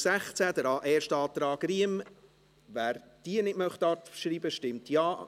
Wer das Postulat nicht abschreiben möchte, stimmt Ja,